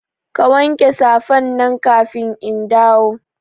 Ka wanke safan nan kafin in dawo